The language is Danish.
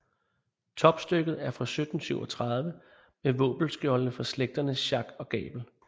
Topstykket er fra 1737 med våbenskjolde for slægterne Schack og Gabel